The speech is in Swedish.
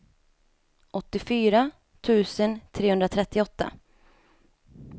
åttiofyra tusen trehundratrettioåtta